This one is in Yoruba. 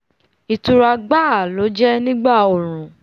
ìtura gbáà ló jẹ́ nígbà ooru